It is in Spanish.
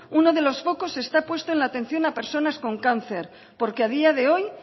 uno de los focos esta puesto en la atención de personas con cáncer porque a día de hoy